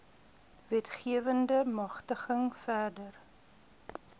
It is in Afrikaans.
wetgewende magtiging verder